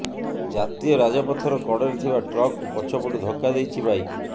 ଜାତୀୟ ରାଜପଥର କଡରେ ଥିବା ଟ୍ରକ୍କୁ ପଛପଟୁ ଧକ୍କାଦେଇଛି ବାଇକ୍